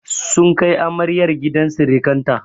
Sun kai amaryar gidan sirikanta.